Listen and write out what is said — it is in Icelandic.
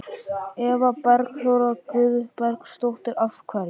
Eva Bergþóra Guðbergsdóttir: Af hverju?